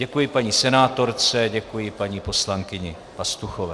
Děkuji paní senátorce, děkuji paní poslankyni Pastuchové.